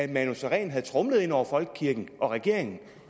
manu sareen havde tromlet hen over folkekirken og regeringen